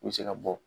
U bɛ se ka bɔ